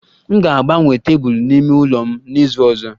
M ga-agbanwe tebụl n'ime ụlọ m n'izu ọzọ